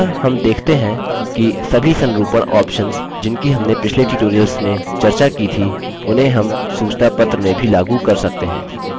अतः हम देखते हैं कि सभी संरूपण formatting options जिनकी हमनें पिछले tutorials में चर्चा की थी उन्हें हम सूचनापत्र में भी लागू कर सकते हैं